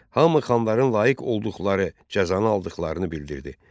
Hamı xanların layiq olduqları cəzanı aldıqlarını bildirirdi.